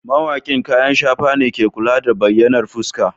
Mawaƙin kayan shafa ne ke kula da bayyanar fuska.